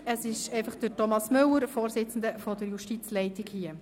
Es ist nur Thomas Müller, Vorsitzender der Justizleitung, hier.